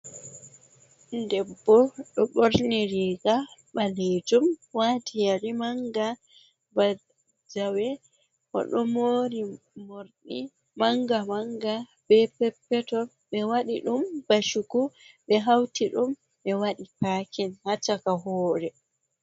Debbo ɗo ɓorni riiga ɓaleejum, waati yeri manga ba jawe, o ɗo moori morɗi manga-manga, be pet-peton, ɓe waɗi ɗum ba chuku, ɓe hauti ɗum ɓe waɗi paakin ha chaka hoore.